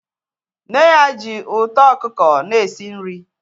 Nne ya ji uto okuko n'esi nri